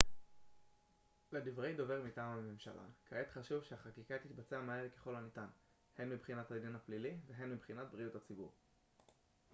לדברי דובר מטעם הממשלה כעת חשוב שהחקיקה תתבצע מהר ככל הניתן הן מבחינת הדין הפלילי והן מבחינת בריאות הציבור